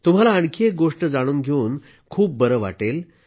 तुम्हाला आणखी एक गोष्ट जाणून घेऊन खूप बरं वाटेल